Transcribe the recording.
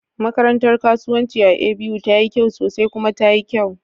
Makarantar kasuwanci a A.B.U tayi kyau sosai kuma tayi kyau